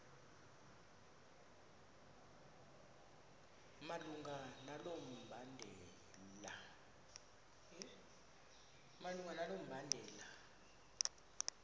malunga nalo mbandela